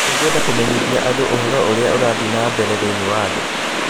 Nĩ ngwenda kũmenyithia andũ ũhoro ũrĩa ũrathiĩ na mbere thĩinĩ wa thĩ